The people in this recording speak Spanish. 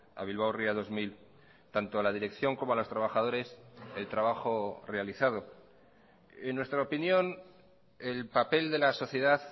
a bilbao ría dos mil tanto a la dirección como a los trabajadores el trabajo realizado en nuestra opinión el papel de la sociedad